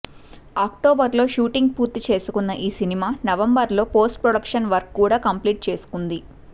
October లో shooting పూర్తి చేసుకున్న ఈ సినిమా నవంబర్ లో పోస్ట్ ప్రొడక్షన్ వర్క్ కూడా కంప్లీట్ చేసుకుంది